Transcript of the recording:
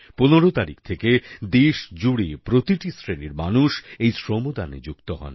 15 তারিখ থেকে দেশজুড়ে প্রতিটি শ্রেণির মানুষ এই শ্রম দানে যুক্ত হন